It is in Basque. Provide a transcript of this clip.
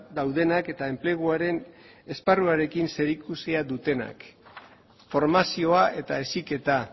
daudenak eta enpleguaren esparruarekin zerikusia dutenak formazioa eta heziketa